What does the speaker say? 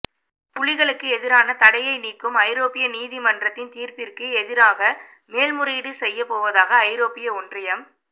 புலிகளுக்கு எதிரான தடையை நீக்கும் ஐரோப்பிய நீதிமன்றின் தீர்ப்பிற்கு எதிராக மேன்முறையீடு செய்யப் போவதாக ஐரோப்பிய ஒன்றியம்